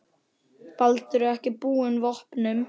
Baldur er ekki búinn vopnum.